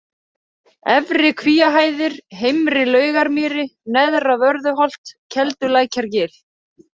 Efri Kvíahæðir, Heimri-Laugarmýri, Neðra-Vörðuholt, Keldulækjargil